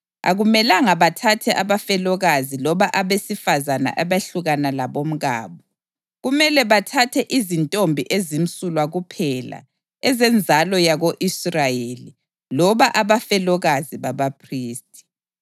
Akumelanga bathathe abafelokazi loba abesifazane abehlukana labomkabo; kumele bathathe izintombi ezimsulwa kuphela ezenzalo yako-Israyeli loba abafelokazi babaphristi.